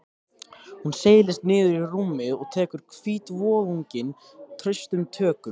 Hún seilist niður í rúmið og tekur hvítvoðunginn traustum tökum.